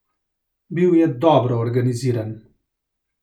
Bil je dobro organiziran.